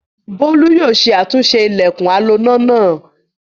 Bólú yóò ṣe àtúnṣe ilẹ̀kùn aloná náà.